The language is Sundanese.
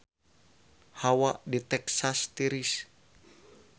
Hawa di Texas tiris